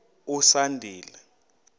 usandile